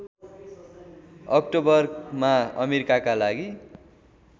अक्टोबरमा अमेरिकाका लागि